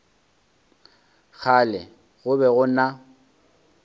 kgale go be go na